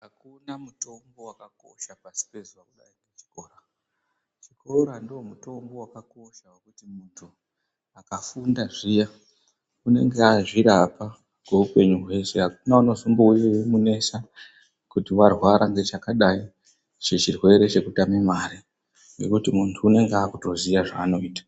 Hakuna mutombo vakakosha pasi pazuva kudai ngechikora. Chikora ndomutombo vakakosha vekuti muntu akafunda zviya unenge azvirapa kweupenyu hwese hakuna anozombouye eimunesa kuti varwara ngechakadai chechirwere chekutame mare. Ngekuti muntu unonga akutoziya zvaanoita.